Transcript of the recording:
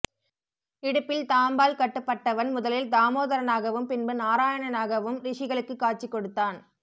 இடுப்பில் தாம்பால் கட்டுப்பட்டவன் முதலில் தாமோதரனாகவும் பின்பு நாராயணனாகவும் ரிஷிகளுக்கு காட்சி கொடுத்தான்